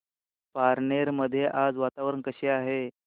पारनेर मध्ये आज वातावरण कसे आहे